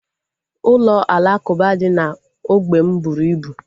Ụlọ alakuba dị na ógbè m bụrụ ibu